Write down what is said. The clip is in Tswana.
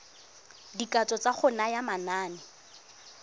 dikatso tsa go naya manane